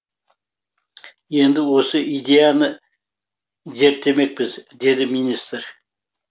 енді осы идеяны зерттемекпіз деді министр